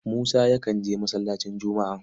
Musa yakan je masallacin Jumu'a.